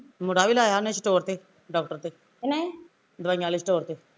ਮੁੰਡਾ ਵੀ ਲਾਇਆ ਉਹਨੇ store ਤੇ ਡਾਕਟਰ ਦੇ ਦਵਾਈਆਂ ਆਲੇ store ਤੇ